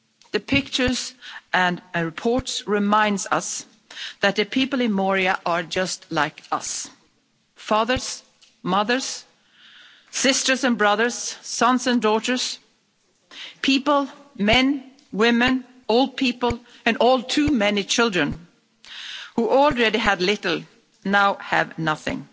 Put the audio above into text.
The pictures and reports remind us that the people in Moria are just like us fathers, mothers, sisters and brothers, sons and daughters, people, men, women, old people, and all too many children who already had little and now have nothing.